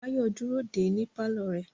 Báyọ̀ dúró dè ẹ́ ní pálọ̀ rẹ̀